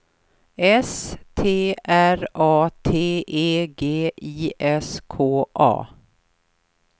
S T R A T E G I S K A